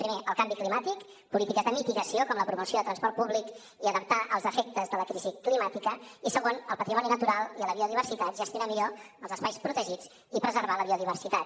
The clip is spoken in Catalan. primer el canvi climàtic polítiques de mitigació com la promoció de transport públic i adaptar els efectes de la crisi climàtica i segon el patrimoni natural i la biodiversitat gestionar millor els espais protegits i preservar la biodiversitat